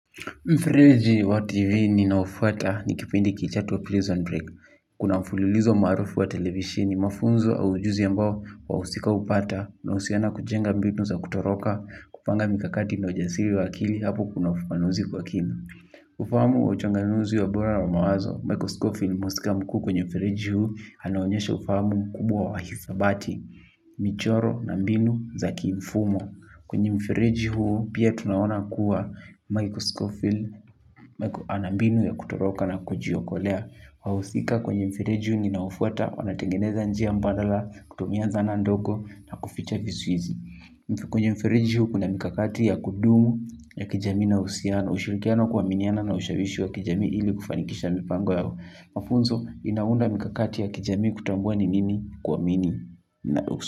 Mfereji wa TV ninaofuata ni kipindi kichato prison break. Kuna mfululizo maarufu wa televishini mafunzo au ujuzi ambao wahusika hupata unahusiana kujenga mbinu za kutoroka, kupanga mikakati na ujasiri wa akili hapo kuna ufanuzi kwa kina. Ufahamu wa uchanganuzi wa ubora wa mawazo, Michael Schofield mhusika mkuu kwenye mfereji huu anaonyesha ufahamu mkubwa wa hisabati, michoro na mbinu za kiimfumo. Kwenye mfereji huu pia tunaona kuwa Michael Schofield, ana mbinu ya kutoroka na kujiokolea. Wahusika kwenye mfereji huu ninaofuata, wanatengeneza njia mbadala, kutumia zana ndogo na kuficha visu izi. Kwenye mfereji huu kuna mikakati ya kudumu ya kijamii na uhusiano, ushirikiano kuaminiana na ushawishi wa kijamii ili kufanikisha mipango yao. Mafunzo inaunda mikakati ya kijami kutambua ni nini kuamini na usi.